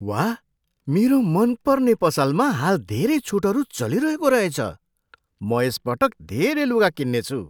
वाह! मेरो मनपर्ने पसलमा हाल धेरै छुटहरू चलिरहेको रहेछ। म यस पटक धेरै लुगा किन्नेछु।